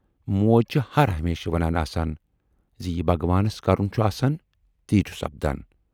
موج چھِ ہر ہمیشہِ ونان آسان زِ یہِ بھگوانس کرُن چھُ آسان تی چھُ سپدان۔